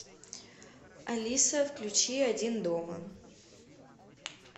алиса включи один дома